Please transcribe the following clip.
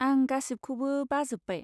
आं गासिबखौबो बाजोब्बाय।